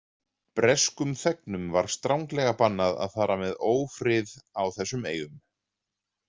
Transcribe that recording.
Breskum þegnum var stranglega bannað að fara með ófrið á þessum eyjum.